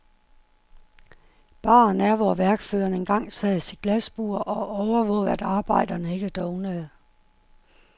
Baren er, hvor værkføreren engang sad i sit glasbur og overvågede, at arbejderne ikke dovnede.